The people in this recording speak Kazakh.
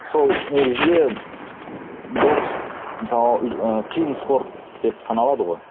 сол негізінде бокс мысалы ы қиын спорт деп саналады ғой